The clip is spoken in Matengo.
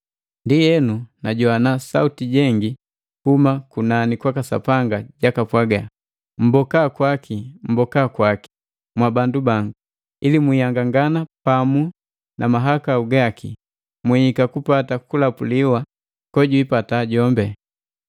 Ndienu najowana Sauti jengi kuhuma kunani kwaka Sapanga jaka pwaga, “Mmboka kwaki, Mboka kwaki, mwabandu bangu, ili mwii nhangangana pamu na mahakau gaki, mwiika kupata kulapuliwa kojwiipata jombi.